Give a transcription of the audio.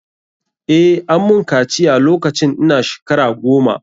Eh, ammun kaciya lokacin ina shkara goma.